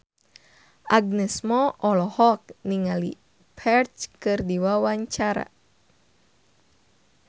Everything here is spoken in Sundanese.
Agnes Mo olohok ningali Ferdge keur diwawancara